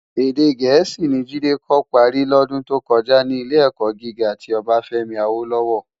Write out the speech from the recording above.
Èdè Gẹẹsi ni Jide kò pári lòdún tó kòjá ni Ilé-èkò gigá ti Obafemi Awolowo.